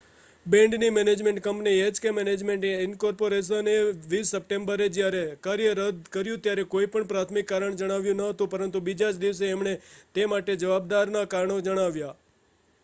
બેન્ડની management company H K management incorporation એ 20 સપ્ટેમ્બરે જયારે કાર્ય રદ કર્યું ત્યારે કોઈ પણ પ્રાથમિક કારણ જણાવ્યું ન હતું પરંતુ બીજા જ દિવસે એમણે તે માટે જવાબદારના કારણો જણાવ્યા